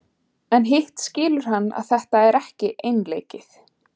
En hitt skilur hann að þetta er ekki einleikið.